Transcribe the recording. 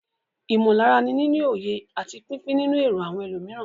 Ìmọ̀lára ni níní òye àti pípín nínú èrò àwọn ẹlòmíràn.